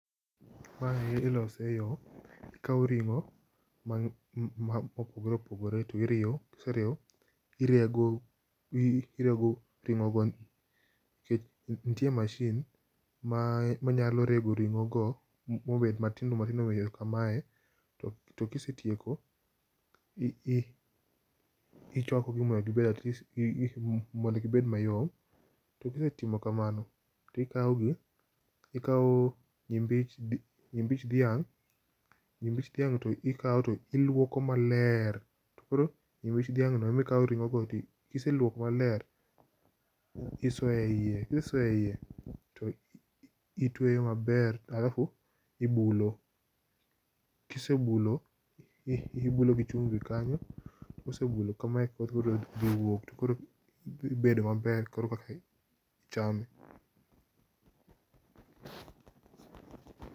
Aparo ni ilose e yo , ikawo ring'o ma opogore opogore to iriwo, irego irego itimo nikech nitie mashin ma nyalo rego ring'o go ma obet matindoo matindo ka mae to ka isetieko ti ichwako gi mondo at least gi bed ma yom. To kisetimo ka mano ti ikawo gi, ikawo nyimbich dhiang' to nyimbich dhiang' to ikawo ti iluoko ma ler, koro nyimbich dhiang' go ema ikawo ring'o go to ka iseluoko ma ler to isoyo e iye. Ki isesoyo e iye alafu itweyo ma ber alafu ibulo. Kisebulo, ibulo gi chumbi kanyo to koro dhi bedo ma ber kor ka ichame.